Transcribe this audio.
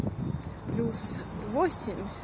плюс восемь